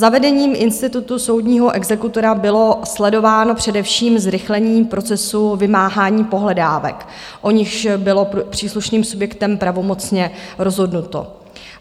Zavedením institutu soudního exekutora bylo sledováno především zrychlení procesu vymáhání pohledávek, o nichž bylo příslušným subjektem pravomocně rozhodnuto.